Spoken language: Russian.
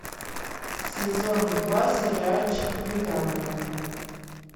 сезон два сериальчик придание